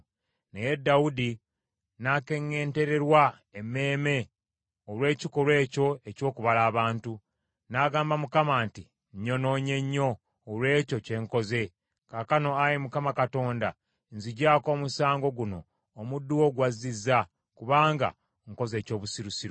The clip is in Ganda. Naye Dawudi n’akeŋŋeentererwa emmeeme olw’ekikolwa ekyo eky’okubala abantu. N’agamba Mukama nti, “Nnyonoonye nnyo olw’ekyo kye nkoze. Kaakano, Ayi Mukama Katonda nziggyako omusango guno omuddu wo gw’azizza, kubanga nkoze eky’obusirusiru.”